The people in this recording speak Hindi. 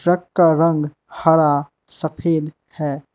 ट्रक का रंग हरा सफेद है।